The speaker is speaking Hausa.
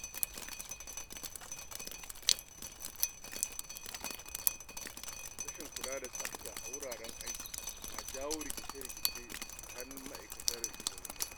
Karancin kula da tsafta a wuraren aiki na jawo rikice-rikice tsakanin ma’aikata da shugabanni.